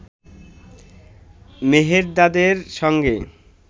মেহেরদাদের সঙ্গে